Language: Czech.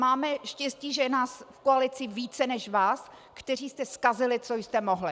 Máme štěstí, že je nás v koalici více než vás, kteří jste zkazili, co jste mohli.